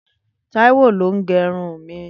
Taiwo ló n gẹrún mi